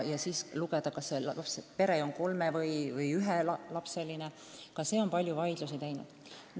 Kas konkreetne kärgpere on ühe-, kahe- või näiteks kolmelapseline, on palju vaidlusi tekitanud.